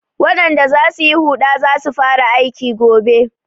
Waɗanda za su yi huɗa za su fara aiki gobe.